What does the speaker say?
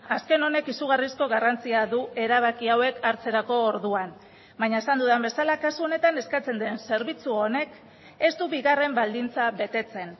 azken honek izugarrizko garrantzia du erabakia hauek hartzerako orduan baina esan dudan bezala kasu honetan eskatzen den zerbitzu honek ez du bigarren baldintza betetzen